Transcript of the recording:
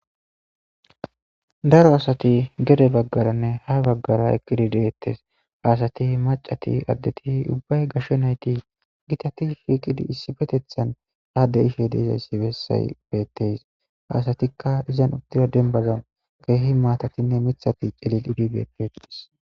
daro asati gede baggaranne ha baggara eqqidi deettes. Ha asati maccati addeti ubbay gashe nayti gitati shiiqidi issipetethan haadde ishe dizayssi bessay beettees. Ha asatikka izan uddita dembbazan keehi maatatinne mithati clilidi beettees.